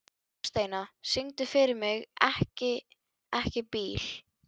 Þórsteina, syngdu fyrir mig „Ekki bíl“.